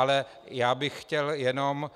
Ale já bych chtěl jenom